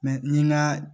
ni ŋa